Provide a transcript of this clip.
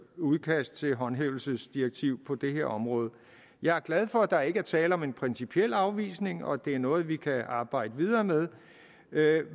udkast til et håndhævelsesdirektiv på det her område jeg er glad for at der ikke er tale om en principiel afvisning og at det er noget vi kan arbejde videre med